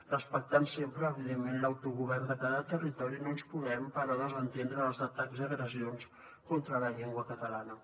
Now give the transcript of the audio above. respectant sempre evidentment l’autogovern de cada territori no ens podem però desentendre dels atacs i agressions contra la llengua catalana